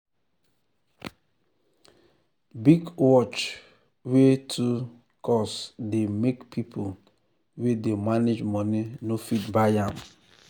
big watch wey too um cost dey make people wey dey manage money no fit buy am.